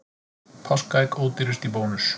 Páskaegg ódýrust í Bónus